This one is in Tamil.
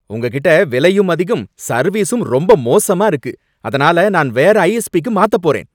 உங்ககிட்ட விலையும் அதிகம், சர்வீஸும் ரொம்ப மோசமா இருக்கு, அதனால நான் வேற ஐஎஸ்பிக்கு மாத்தப்போறேன்